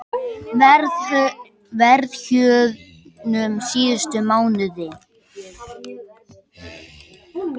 Verðhjöðnun síðustu mánuði